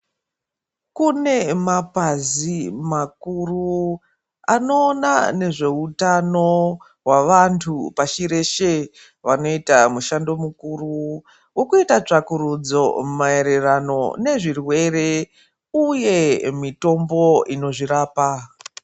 Kune mapazi makuru anoona nezveutano hwavantu pashi reshe, vanoita mushando mukuru wokuita tsvakurudzo maererano nezvirwere, uye mitombo inozvirapa.